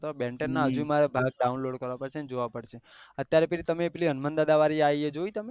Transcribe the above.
બેન ટેન જોયું Ben ten માં મનેબહુ ગમતા થા બેન ટેન ના હજુ મને download કર પડશે જોયા પડશે અત્યારે પેલી તમે પેલી હનુમાન દાદા વાડી આયી એ જોયી તમે